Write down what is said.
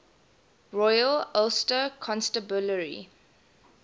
royal ulster constabulary